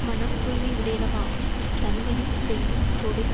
மனம் தூய்மையுடையவனாகும் தன்மையும் செய்யும் தொழில்